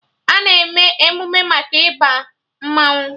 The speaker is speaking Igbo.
A na-eme emụme maka Ịba mmanwụ